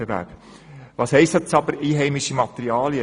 Was heisst nun aber «einheimische Materialien»?